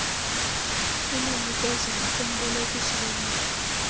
kulinikezela kumbolekisi weemali